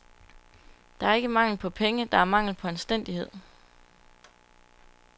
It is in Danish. Der er ikke mangel på penge, der er mangel på anstændighed.